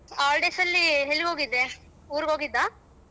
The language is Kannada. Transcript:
Holidays ಅಲಿ ಎಲ್ಲಿಗೋಗಿದ್ದೇ ಊರಗೋಗಿದ್ದ.